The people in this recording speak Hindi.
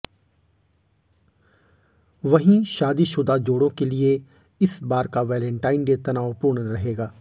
वहीं शादीशुदा जोड़ों के लिए इस बार का वेलेंटाइन डे तनावपूर्ण रहेगा